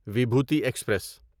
Vibhuti express